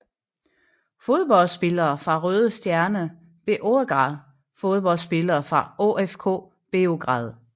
Fodboldspillere fra Røde Stjerne Beograd Fodboldspillere fra OFK Beograd